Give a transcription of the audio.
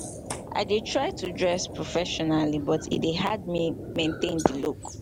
i dey try to dress professionally but e dey hard me maintain di look.